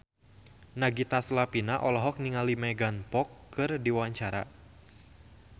Nagita Slavina olohok ningali Megan Fox keur diwawancara